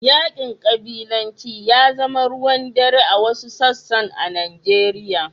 Yaƙin ƙabilanci ya zama aruwan dare a wasu sassan a Nijeriya.